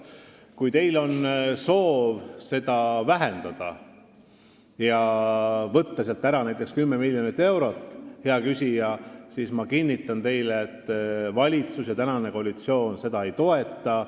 Kui teil on soov seda vähendada ja võtta sealt ära näiteks 10 miljonit eurot, siis ma kinnitan teile, hea küsija, et valitsus ja praegune koalitsioon seda ei toeta.